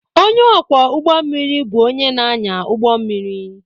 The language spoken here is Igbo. Ónyé ọkwọ ụgbọ mmiri bụ ónyé na-anya ụgbọ mmiri.